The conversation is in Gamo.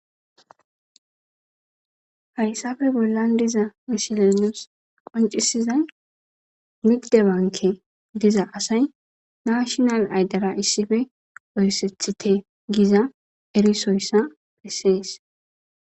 Hayissappe bollanni diza missileyi nusi qonccisizayi nigide banke Giza asayi national idera issippe gaseththitte Giza erissoyissa besses.